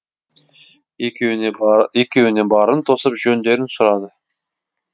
екеуіне барын тосып жөндерін сұрады